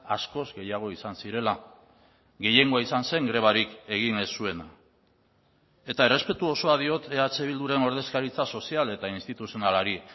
askoz gehiago izan zirela gehiengoa izan zen grebarik egin ez zuena eta errespetu osoa diot eh bilduren ordezkaritza sozial eta instituzionalari